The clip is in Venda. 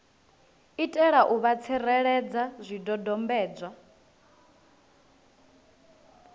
itela u vha tsireledza zwidodombedzwa